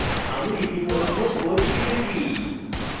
আমি ইতিমধ্যে code লিখেছি